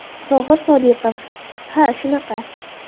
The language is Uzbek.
Tohir Sodiqov: Ha shunaqa.